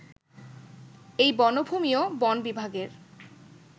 এই বনভূমিও বন বিভাগের